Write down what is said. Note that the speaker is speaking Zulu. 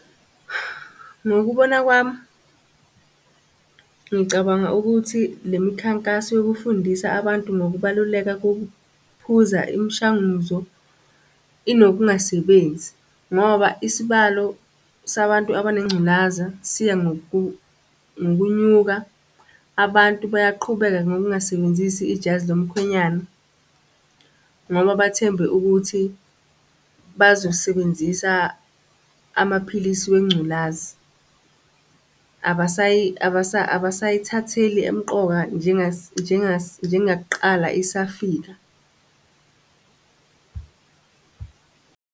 Ngokubona kwami, ngicabanga ukuthi le mikhankaso yokufundisa abantu ngokubaluleka kokuphuza imishanguzo inokungasebenzi, ngoba isibalo sabantu abanengculaza siya ngokunyuka. Abantu bayaqhubeka ngokungasebenzisi ijazi lomkhwenyana, ngoba bathembe ukuthi bazosebenzisa amaphilisi wengculazi, abasayithatheli emqoka njengakuqala isafika.